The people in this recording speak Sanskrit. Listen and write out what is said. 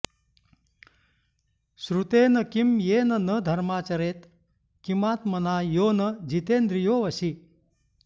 श्रुतेन किं येन न धर्ममाचरेत् किमात्मना यो न जितेन्द्रियो वशी